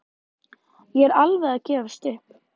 Ég er alveg að gefast upp.